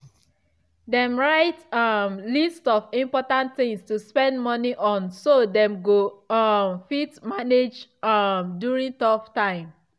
dem write um list of important things to spend money on so dem go um fit manage um during tough time.